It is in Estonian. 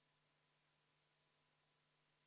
Head kolleegid, EKRE fraktsiooni palutud vaheaeg on lõppenud.